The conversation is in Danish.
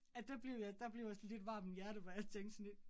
Ja, der blev jeg, der blev jeg sådan lidt varm om hjertet, hvor jeg tænkte sådan lidt